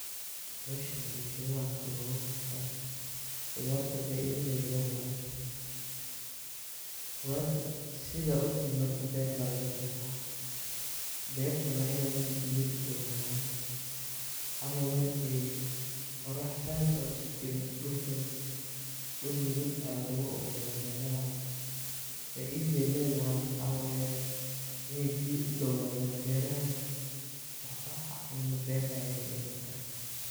Howshan howsha waa khudarta faiadda ay ledahay oo dul nugul aya lagu beraa, oo marka kabacdi bahasha marki labero waxaa laqabta oo lahabeyaa. Faidadhana waxa waye iney biyaa u dawadan wayo waxan cuno ber ayey kayimadan.